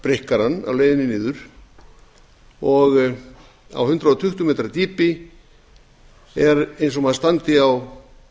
hann á leiðinni niður og á hundrað tuttugu metra dýpi er eins og maður standi á